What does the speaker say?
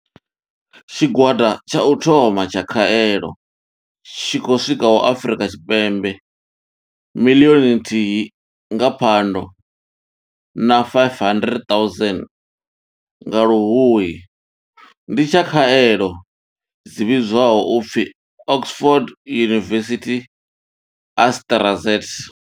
Tshigwada tsha u thoma tsha khaelo tshi khou swikaho Afrika Tshipembe miḽioni nthihi nga Phando na 500 000 nga Luhuhi ndi tsha khaelo dzi vhidzwaho u pfi Oxford University-AstraZ.